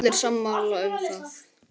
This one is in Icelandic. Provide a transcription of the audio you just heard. Allir sammála um það.